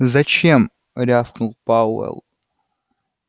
зачем рявкнул пауэлл